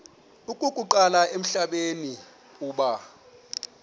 okokuqala emhlabeni uba